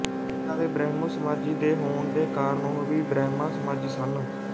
ਪਿਤਾ ਦੇ ਬ੍ਰਹਮੋਸਮਾਜੀ ਦੇ ਹੋਣ ਦੇ ਕਾਰਨ ਉਹ ਵੀ ਬ੍ਰਹਮਾਸਮਾਜੀ ਸਨ